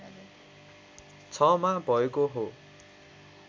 ६मा भएको हो।